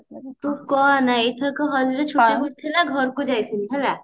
ତୁ କହନା ଏଥରକ ହୋଲି ଛୁଟି ଯୋଉ ଥିଲା ଘରକୁ ଯାଇଥିଲି ହେଲା